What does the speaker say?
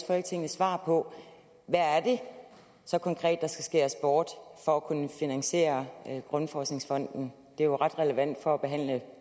folketinget svar på hvad er det så konkret der skal skæres bort for at kunne finansiere grundforskningsfonden det er jo ret relevant for at behandle